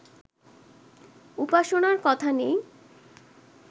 উপাসনার কথা নেই